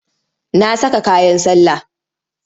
Na saka kayan sallah.